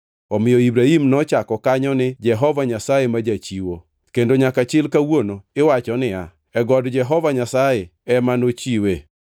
Omiyo Ibrahim nochako kanyo ni Jehova Nyasaye ma Jachiwo + 22:14 Gi dho jo-Hibrania en Jehova Jire. kendo nyaka chil kawuono iwacho niya, “E God Jehova Nyasaye ema nochiwe.”